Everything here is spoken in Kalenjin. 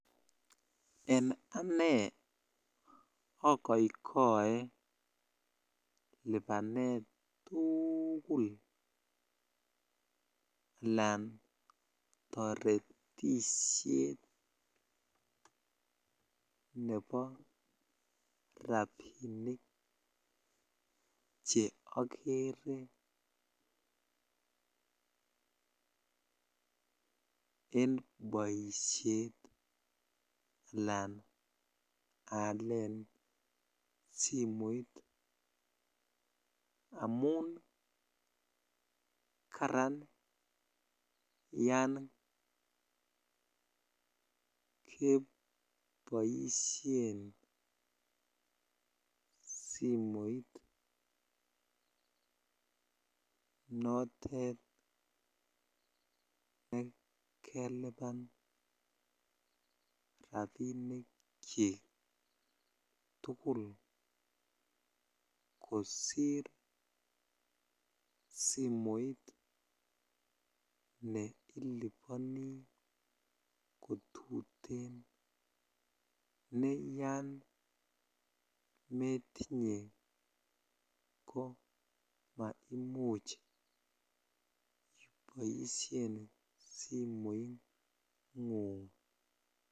En anee okoikoe libanet tukul alaan toretishet nebo rabinik che okere en boishet alaan aalen simoit amun karan yoon keboishen simoit notet nekeliban rabinikyik tukul kosir simoit neiliboni kotuten nee yoon metinye ko maimuch iboishen simoingung.